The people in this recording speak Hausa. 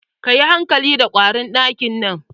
Ka yi hankali da ƙwarin ɗakin nan.